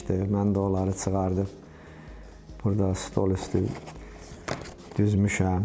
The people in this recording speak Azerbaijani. Mən də onları çıxarıb burda stol üstü düzmüşəm.